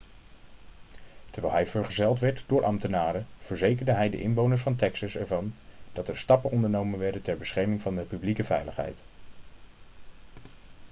terwijl hij vergezeld werd door ambtenaren verzekerde hij de inwoners van texas ervan dat er stappen ondernomen werden ter bescherming van de publieke veiligheid